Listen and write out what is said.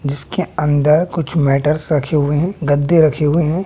इसके अंदर कुछ मैटर्स रखे हुए हैं गद्दे रखे हुए हैं।